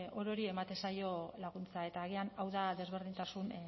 orori ematen zaio laguntza eta agian hau da desberdintasun